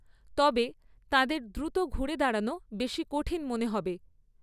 তবে, তাঁদের দ্রুত ঘুরে দাঁড়ানো বেশি কঠিন মনে হবে।